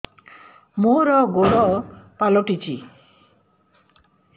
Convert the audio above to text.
ମୋର ଗୋଡ଼ ପାଲଟିଛି